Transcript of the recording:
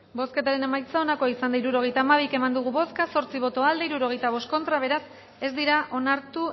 bozketaren emaitza onako izan da hirurogeita hamairu eman dugu bozka zortzi boto aldekoa sesenta y cinco contra beraz ez dira onartu